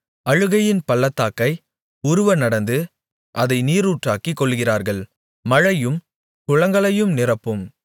அழுகையின் பள்ளத்தாக்கை உருவ நடந்து அதை நீரூற்றாக்கிக் கொள்ளுகிறார்கள் மழையும் குளங்களை நிரப்பும்